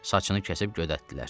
Saçını kəsib gödətdilər.